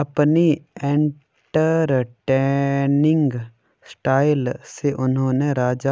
अपनी entertaining style से उन्होंने राज